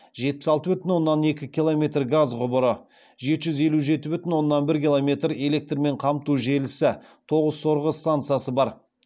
жетпіс алты бүтін оннан екі километр газ құбыры жеті жүз елу жеті бүтін оннан бір километрэлектрмен қамту желісі тоғыз сорғы стансасы бар